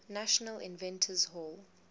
national inventors hall